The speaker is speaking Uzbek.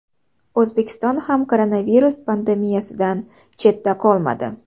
O‘zbekiston ham koronavirus pandemiyasidan chetda qolmadi.